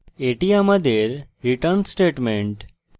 এটি আমাদের return statement